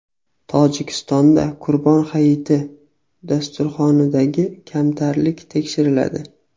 Tojikistonda Qurbon hayiti dasturxonidagi kamtarlik tekshiriladi.